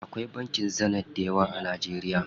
Akwai bankin Zenith dayawa a Najeriya.